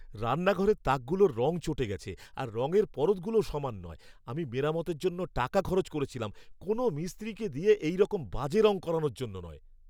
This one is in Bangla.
রান্নাঘরের তাকগুলোর রং চটে গেছে, আর রঙের পরতগুলোও সমান নয়। আমি মেরামতের জন্য টাকা খরচ করেছিলাম, কোনো মিস্ত্রিকে দিয়ে এইরকম বাজে রঙ করানোর জন্য নয়!